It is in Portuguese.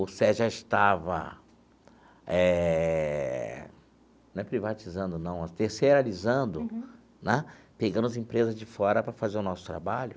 O CER já estava eh... não é privatizando, não, é terceiralizando né pegando as empresas de fora para fazer o nosso trabalho.